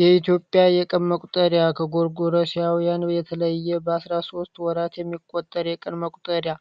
የኢትዮጵያ የቀን መቍጠሪያ ከጎርጎረስያውያን የተለየ በ 13 ወራት የሚቆጠር የቀን መቁጠሪያ